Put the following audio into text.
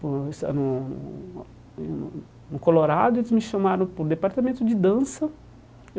No Colorado, eles me chamaram para o departamento de dança.